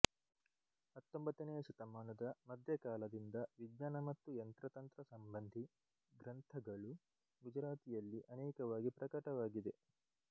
ಹತ್ತೊಂಬತ್ತನೆಯ ಶತಮಾನದ ಮಧ್ಯಕಾಲದಿಂದ ವಿಜ್ಞಾನ ಮತ್ತು ಯಂತ್ರತಂತ್ರ ಸಂಬಂಧಿ ಗ್ರಂಥಗಳು ಗುಜರಾತಿಯಲ್ಲಿ ಅನೇಕವಾಗಿ ಪ್ರಕಟವಾಗಿವೆ